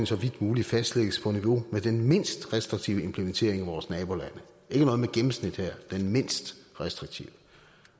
så vidt muligt fastlægges på niveau med den mindst restriktive implementering i vores nabolande ikke noget med gennemsnit her den mindst restriktive